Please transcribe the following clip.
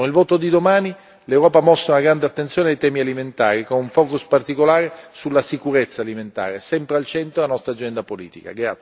Con il voto di domani, l'Europa ha posto una grande attenzione sui temi alimentari, con un focus particolare sulla sicurezza alimentare, sempre al centro della nostra agenda politica.